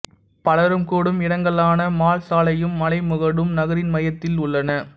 பலரும் கூடும் இடங்களான மால் சாலையும் மலைமுகடும் நகரின் மையத்தில் உள்ளன